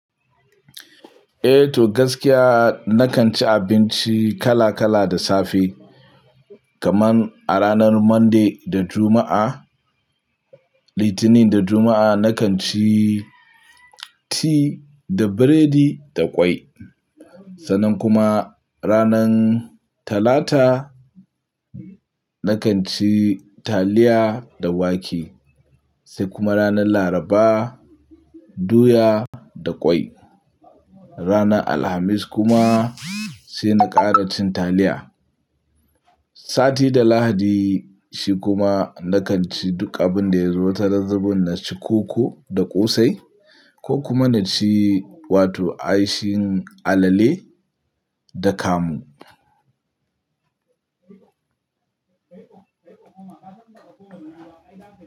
Eh to gaskiya na kan ci abinci kala kala da safe. Kaman a ranar Monday da Juma'a, Litinin da Juma'a na kan ci ti da biredi da kwai. Sannan kuma ranan Talata na kan ci taliya da wake. Sai kuma ranan Laraba doya da kwai. Ranan Alhamis kuma sai na kara cin taliya. Sati da Lahadi shi kuma na kan ci duk abinda ya zo ta nazabin na ci koko da ƙosai ko kuma na ci wato aishin alale da kamu.